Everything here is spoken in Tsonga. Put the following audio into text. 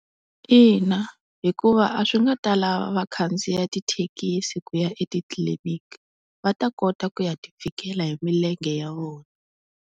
Ina hikuva a swi nga ta lava va khandziya tithekisi ku ya etitliliniki, va ta kota ku ya ti fikela hi milenge ya vona.